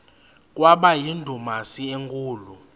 kwaba yindumasi enkulu